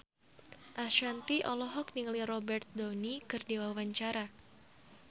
Ashanti olohok ningali Robert Downey keur diwawancara